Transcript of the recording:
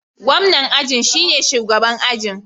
Gwamnan aji shine shugaban ajin.